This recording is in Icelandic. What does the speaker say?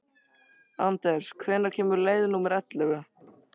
Anders, hvenær kemur leið númer ellefu?